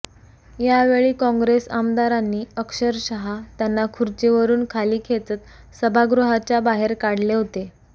यावेळी कॉँग्रेस आमदारांनी अक्षरशः त्यांना खुर्चीवरून खाली खेचत सभागृहाच्या बाहेर काढले होते